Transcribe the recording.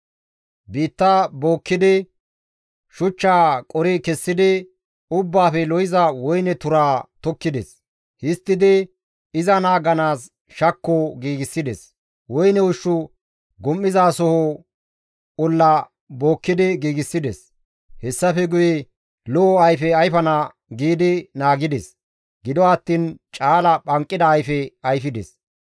Biitta bookkidi, shuchchaa qori kessidi, ubbaafe lo7iza woyne turaa tokkides; histtidi iza naaganaas shakko giigsides; woyne ushshu gum7izasoho olla bookki giigsides. Hessafe guye lo7o ayfe ayfana giidi naagides; gido attiin caala phanqida ayfe ayfides.